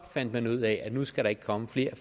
fandt ud af at nu skal der ikke komme flere